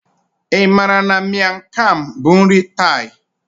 Ị maara na Miang kham bụ nri Thai?